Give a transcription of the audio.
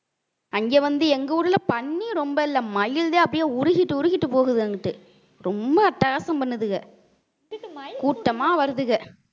அங்க வந்து எங்க ஊர்ல பன்றி ரொம்ப இல்லை மயில்தான் அப்படியே உருகிட்டு உருகிட்டு போகுது அங்கிட்டு ரொம்ப அட்டகாசம் பண்ணுதுக கூட்டமா வருதுக